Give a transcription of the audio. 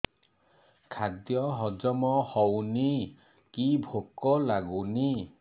ଖାଦ୍ୟ ହଜମ ହଉନି କି ଭୋକ ଲାଗୁନି